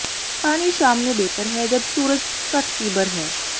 ਪਾਣੀ ਸ਼ਾਮ ਨੂੰ ਬਿਹਤਰ ਹੈ ਜਦ ਸੂਰਜ ਘੱਟ ਤੀਬਰ ਹੈ